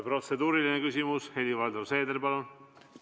Protseduuriline küsimus, Helir-Valdor Seeder, palun!